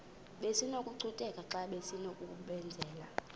besinokucutheka xa besinokubenzela